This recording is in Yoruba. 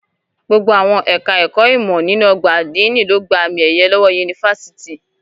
Gbogbo àwọn ẹka ẹ̀kọ́ ìmọ nínú ọgbà adini ló gbà àmi ẹyẹ lọwọ yunifásítì.